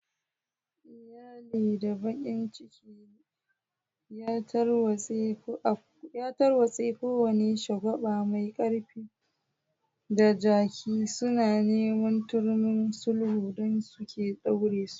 Iyali da bakin ciki ya tarwatse, kowane shagwaba mai kaifi da jaki, suna neman turmin sulhu don sake ɗaure su.